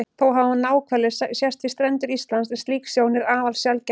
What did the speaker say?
Þó hafa náhvalir sést við strendur Íslands en slík sjón er afar sjaldgæf.